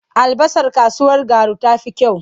Albasar kasuwar Garu ta fi kyau.